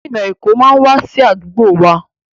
Gómìnà Èkó máa wá sí àdúgbò wa.